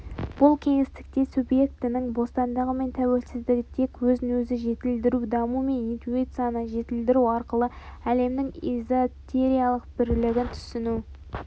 бұл кеңістікте субъектінің бостандығы мен тәуелсіздігі тек өзін өзі жетілдіру даму мен интуицияны жетілдіру арқылы әлемнің эзотериялық бірлігін түйсіну